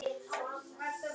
Eftir Stefán Mána.